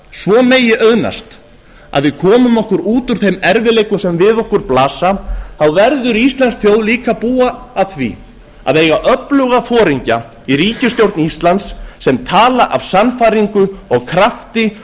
svo megi auðnast að við komum okkur út úr þeim erfiðleikum sem við okkur blasa verður íslensk þjóð líka að búa að því að eiga öfluga foringja í ríkisstjórn íslands sem tala af sannfæringu og krafti